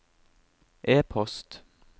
e-post